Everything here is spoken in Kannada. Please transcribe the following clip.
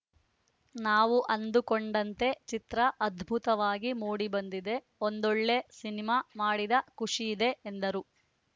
ನಾವು ಅಂದುಕೊಂಡಂತೆ ಚಿತ್ರ ಅದ್ಭುತವಾಗಿ ಮೂಡಿಬಂದಿದೆ ಒಂದೊಳ್ಳೆ ಸಿನಿಮಾ ಮಾಡಿದ ಖುಷಿಯಿದೆ ಎಂದರು